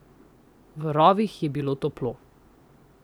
V rovih je bilo toplo.